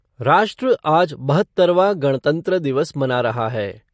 राष्ट्र आज बहत्तरवां गणतंत्र दिवस मना रहा है।